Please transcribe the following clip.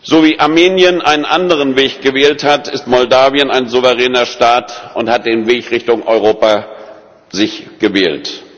So wie Armenien einen anderen Weg gewählt hat, ist Moldau ein souveräner Staat und hat den Weg Richtung Europa für sich gewählt.